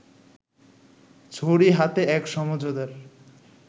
ছড়ি হাতে এক সমঝদার